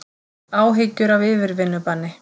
Áhyggjur af yfirvinnubanni